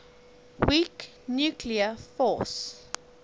weak nuclear force